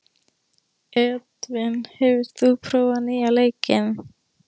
Edvin, hefur þú prófað nýja leikinn?